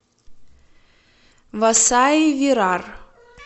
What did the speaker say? васаи вирар